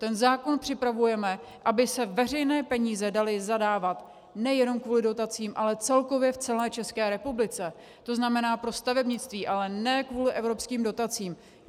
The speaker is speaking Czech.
Ten zákon připravujeme, aby se veřejné peníze daly zadávat nejenom kvůli dotacím, ale celkově v celé České republice, to znamená pro stavebnictví, ale ne kvůli evropským dotacím.